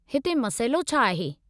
हिते मसइलो छा आहे?